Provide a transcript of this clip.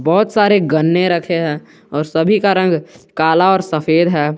बहुत सारे गन्ने रखे हैं और सभी का रंग काला और सफेद है।